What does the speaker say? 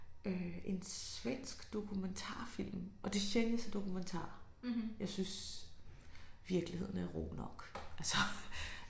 Øh en svensk dokumentarfilm og det sjældent jeg ser dokumentarer jeg synes virkeligheden er rå nok altså